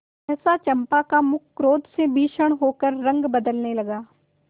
सहसा चंपा का मुख क्रोध से भीषण होकर रंग बदलने लगा